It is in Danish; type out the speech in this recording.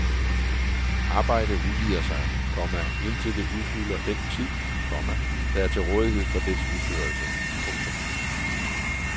Arbejde udvider sig, komma indtil det udfylder den tid, komma der er til rådighed for dets udførelse. punktum